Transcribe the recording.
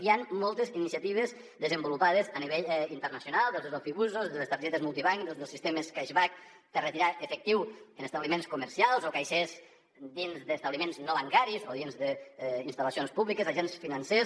hi han moltes iniciatives desenvolupades a nivell internacional des dels ofibusos des de les targetes multibanc i dels sistemes cashbackbliments comercials o caixers dins d’establiments no bancaris o dins d’instal·lacions públiques agents financers